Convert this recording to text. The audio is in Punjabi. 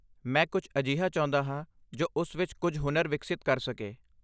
ਮੈਂ ਕੁਝ ਅਜਿਹਾ ਚਾਹੁੰਦਾ ਹਾਂ ਜੋ ਉਸ ਵਿੱਚ ਕੁਝ ਹੁਨਰ ਵਿਕਸਿਤ ਕਰ ਸਕੇ।